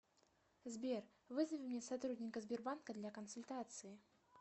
сбер вызови мне сотрудника сбербанка для консультации